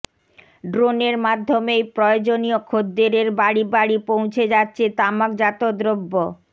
ড্রোনের মাধ্যমেই প্রয়োজনীয় খদ্দেরের বাড়ি বাড়ি পৌঁছে যাচ্ছে তামাকজাত দ্রব্য